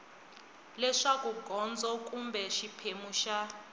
leswaku gondzo kumbe xiphemu xa